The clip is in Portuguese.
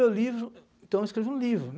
Então eu escrevo um livro.